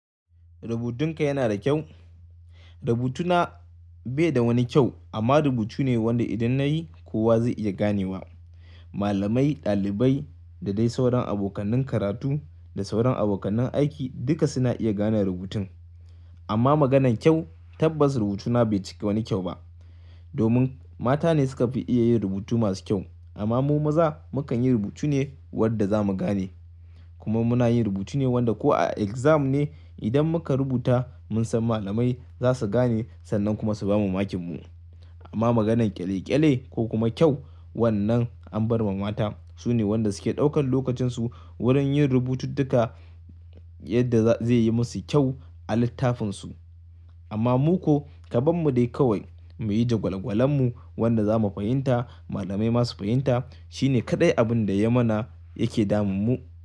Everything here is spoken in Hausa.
Rubutunka yana da kyau? Rubutuna bai da wani kyau amma rubutu ne wanda idan na yi kowa zai iya ganewa. Malamai, ɗalibai da dai sauran abokan karatu da sauran abokan aiki duka suna iya gane rubutun. Amma maganan kyau tabbas rubutuna bai cika wani kyau ba. Domin mata ne suka fi iya yin rubutu masu kyau amma mu maza mu kan yi rubutu ne wanda za mu gane. Kuma muna yin rubutu ne wanda ko a exam ne idan muka rubuta mun san malamai za su gane sannan kuma su bamu makinmu. Amma maganan ƙyale-ƙyale ko kuma kyau wannan an bar ma mata. Su ne wanda suke ɗaukan lokacin su wurin yin rubutun duka yadda zai yi musu kyau a littafin su. Amma mu ko kaɓan mu dai kawai mu yi jagwalgwalan mu wanda za mu fahimta malamai masu fahimta shine kaɗai abin da ya mana yake damun mu.